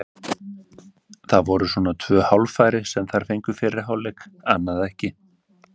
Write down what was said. Það voru svona tvö hálffæri sem þær fengu í fyrri hálfleik, annað ekki.